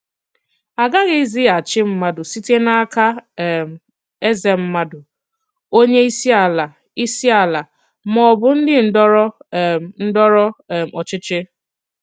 À gaghịzi àchì mmàdù site n'aka um èzè mmàdù, onye ìsì alà, ìsì alà, mà ọ̀ bụ̀ ndị ndọrọ um ndọrọ um òchìchì.